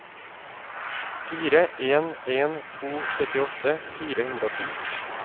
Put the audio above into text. fire en en to syttiåtte fire hundre og ti